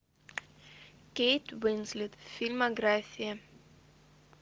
кейт уинслет фильмография